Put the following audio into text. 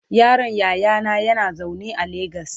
yaron yayana yana zaune a legas